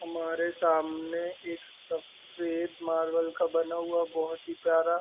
हमारे सामने एक सफ़ेद मार्बल का बना हुआ बहोत ही प्यारा --